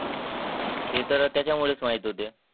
ते तर त्याच्यामधेच माहित होते.